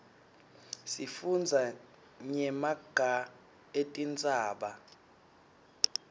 sifundza nyemaga etintsaba